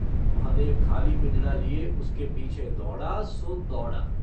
महादेव खाली पिंजड़ा लिये उसके पीछे दौड़ा सो दौड़ा।